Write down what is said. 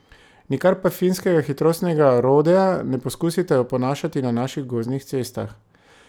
Nikar pa finskega hitrostnega rodea ne poskusite oponašati na naših gozdnih cestah.